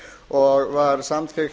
og var samþykkt